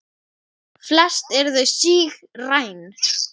Flest eru þau sígræn.